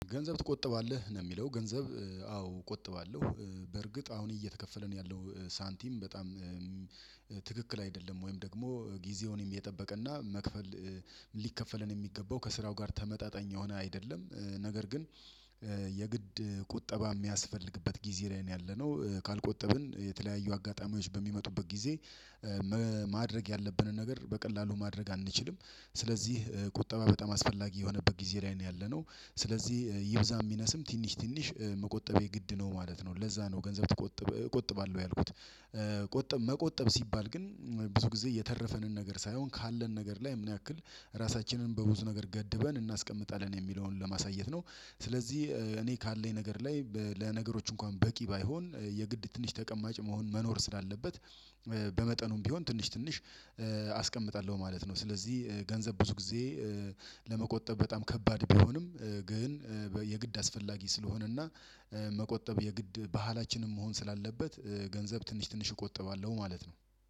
ገንዘብ ትቆጥባለህ ነው ሚለው? ገንዘብ አዎ ቆጥባለሁ። በርግጥ አሁን እየተከፈለን ያለው ሳንቲም በጣም ትክክል አይደለም ወይም ደግሞ ጊዜውንም የጠበቀና መክፈል ሊከፈለን የሚገባው ከስራው ጋር ተመጣጣኝ የሆነ አይደለም። ነገር ግን የግድ ቁጠባ ሚያስፈልግበት ጊዜ ላይ ነው ያለነው ካልቆጠብን የተለያዩ አጋጣሚዎች በሚመጡበት ጊዜ ማድረግ ያለብንን ነገር በቀላሉ ማድረግ አንችልም። ስለዚህ ቁጠባ በጣም አስፈላጊ የሆነበት ጊዜ ላይ ነው ያለነው። ስለዚህ ይብዛም ይነስም ትንሽ ትንሽ መቆጠብ የግድ ነው ማለት ነው። ለዛ ነው ገንዘብ እቆጥባለሁ ያልኩት። መቆጠብ ሲባል ግን ብዙ ጊዜ የተረፈንን ነገር ሳይሆን ካለን ነገር ላይ ምን ያክል ራሳችንን በብዙ ነገር ገድበን እናስቀምጣለን የሚለውን ለማሳየት ነው። ስለዚህ እኔ ካለኝ ነገር ላይ ለነገሮች እንኳን በቂ ባይሆን የግድ ትንሽ ተቀማጭ መሆን መኖር ስላለበት በመጠኑም ቢሆን ትንሽ ትንሽ አስቀምጣለሁ ማለት ነው። ስለዚህ ገንዘብ ብዙ ጊዜ ለመቆጠብ በጣም ከባድ ቢሆንም። ግን የግድ አስፈላጊ ስለሆነና መቆጠብ የግድ ባህላችን መሆን ስላለበት ገንዘብ ትንሽ ትንሽ እቆጥባለሁ ማለት ነው።